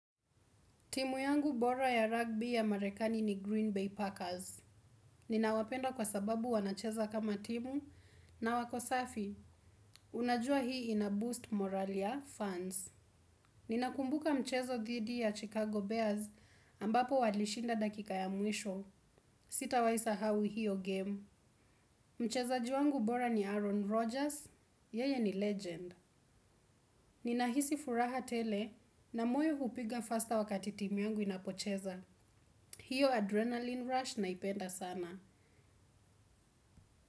Timu yangu bora ya rugby ya marekani ni Green Bay Packers. Ninawapenda kwa sababu wanacheza kama timu na wako safi. Unajua hii inaboost morali ya fans. Ninakumbuka mchezo dhidi ya Chicago Bears ambapo walishinda dakika ya mwisho. Sitawahi sahau hiyo game. Mchezaji wangu bora ni Aaron Rodgers. Yeye ni legend. Ninahisi furaha tele na moyo hupiga faster wakati timu yangu inapocheza. Hiyo adrenaline rush naipenda sana.